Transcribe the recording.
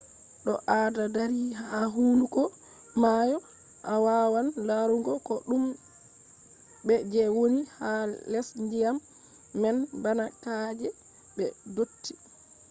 to ado dari ha hunduko maayo a wawan larugo ko dume je woni ha les dyam man bana ka’eji be dotti